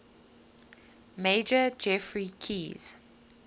major geoffrey keyes